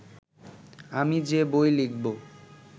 আমি যে বই লিখব